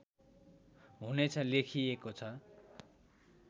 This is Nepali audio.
हुनेछ लेखिएको छ